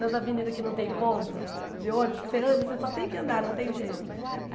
Nas avenidas que não tem ponto de ônibus, que você anda, você só tem que andar, não tem jeito.